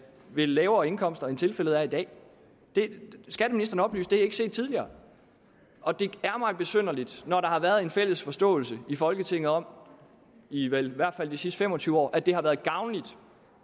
ved lavere indkomster end tilfældet er i dag at det ikke er set tidligere og det er mig besynderligt når der har været en fælles forståelse i folketinget om i vel i hvert fald de sidste fem og tyve år at det har været gavnligt